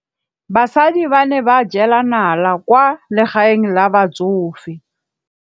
Basadi ba ne ba jela nala kwaa legaeng la batsofe.